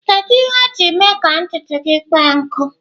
Kedu ihe o ji mee ka ntutu gị kpọọ nkụ?